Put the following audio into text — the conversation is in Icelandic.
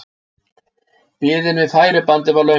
Biðin við færibandið var löng.